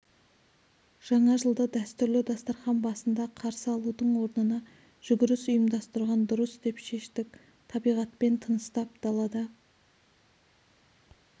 жаңа жылды дәстүрлі дастархан басында қарсы алудың орнына жүгіріс ұйымдастырған дұрыс деп шештік табиғатпен тыныстап далада